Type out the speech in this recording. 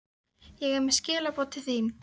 Ég er með skilaboð til þín.